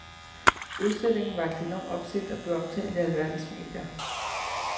Udstillingen vakte enorm opsigt og blev omtalt i alverdens medier.